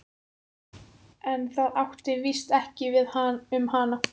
En það átti víst ekki við um hana.